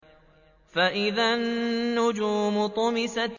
فَإِذَا النُّجُومُ طُمِسَتْ